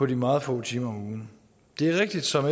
de meget få timer om ugen det er rigtigt som